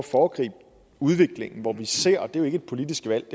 foregribe udviklingen hvor vi ser at det ikke er et politisk valg